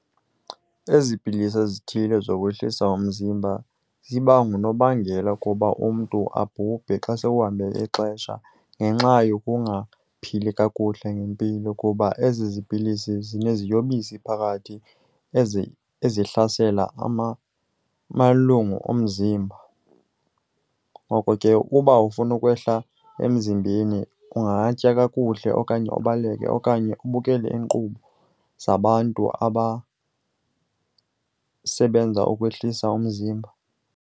Ezi pilisi ezithile zokwehlisa umzimba ziba ngunobangela kuba umntu abhubhe xa sekuhambe ixesha ngenxa yokungaphili kakuhle ngempilo, kuba ezi zipilisi zineziyobisi phakathi ezihlasela amalungu omzimba. Ngoko ke uba ufuna ukwehla emzimbeni ungatya kakuhle okanye ubaleke okanye ubukele iinkqubo zabantu abasebenza ukwehlisa umzimba.